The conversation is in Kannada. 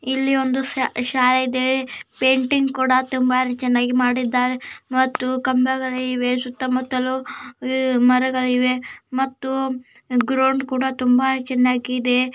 ಇನ್ನು ಒಂದು ಶಾಲೆ ಇದೆ ಪೇಂಟಿಂಗ್ ಕೂಡ ತುಂಬಾ ಚೆನ್ನಾಗಿ ಮಾಡಿದ್ದಾರೆ ಮತ್ತು ಕಂಬಗಳಿವೆ ಸುತ್ತಮುತ್ತಲು ಮರಗಳನ್ನು ಮತ್ತುಗ್ರೌಂಡ್ ಕೂಡ ತುಂಬಾ ಚೆನ್ನಾಗಿದೆ .